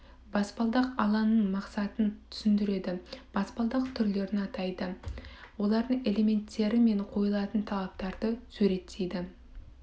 баспалдақ алаңының мақсатын түсіндіреді баспалдақ түрлерін атайды олардың элементтері мен қойылатын талаптарды суреттейді